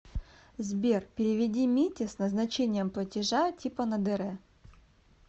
сбер переведи мите с назначением платежа типа на др